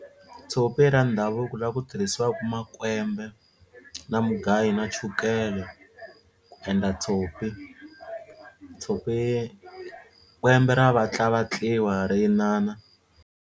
Tshopi ra ndhavuko laha ku tirhisiwaka makwembe na mugayo na chukele ku endla tshopi tshopi kwembe ra vatlavatliwa ri inana.